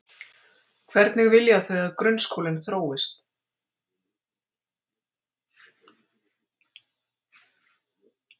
Hvernig vilja þau að grunnskólinn þróist?